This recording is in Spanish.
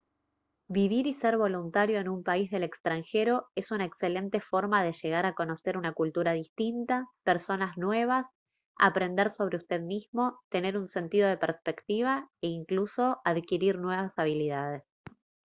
vivir y ser voluntario en un país del extranjero es una excelente forma de llegar a conocer una cultura distinta personas nuevas aprender sobre usted mismo tener un sentido de perspectiva e incluso adquirir habilidades nuevas